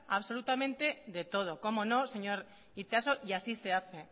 absolutamente de todo cómo no señor itxaso y así se hace